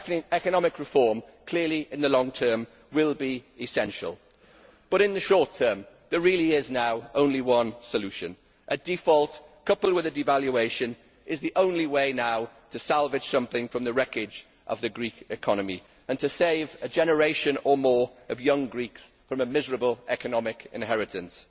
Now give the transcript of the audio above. Economic reform in the long term will clearly be essential, but in the short term there really is now only one solution a default, coupled with a devaluation, is the only way now to salvage something from the wreckage of the Greek economy, and to save a generation or more of young Greeks from a miserable economic inheritance.